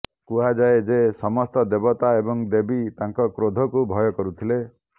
କୁହାଯାଏ ଯେ ସମସ୍ତ ଦେବତା ଏବଂ ଦେବୀ ତାଙ୍କ କ୍ରୋଧକୁ ଭୟ କରୁଥିଲେ